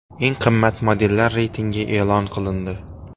Eng qimmat modellar reytingi e’lon qilindi.